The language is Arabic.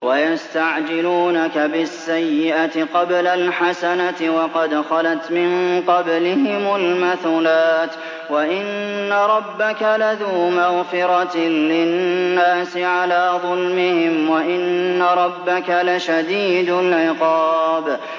وَيَسْتَعْجِلُونَكَ بِالسَّيِّئَةِ قَبْلَ الْحَسَنَةِ وَقَدْ خَلَتْ مِن قَبْلِهِمُ الْمَثُلَاتُ ۗ وَإِنَّ رَبَّكَ لَذُو مَغْفِرَةٍ لِّلنَّاسِ عَلَىٰ ظُلْمِهِمْ ۖ وَإِنَّ رَبَّكَ لَشَدِيدُ الْعِقَابِ